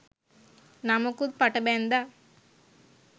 නමකුත් පට බැන්දා